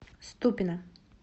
ступино